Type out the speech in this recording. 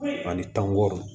Ani tangɔ